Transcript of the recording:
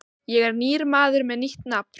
Ég er nýr maður með nýtt nafn.